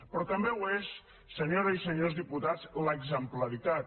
però també ho és senyores i senyors diputats l’exemplaritat